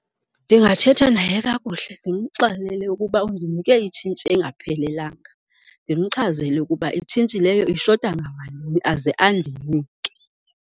Ndingathetha naye kakuhle ndimxelele ukuba undinike itshintshi engaphelelanga, ndimchazele ukuba itshintshi leyo ishota ngamalini aze andinike.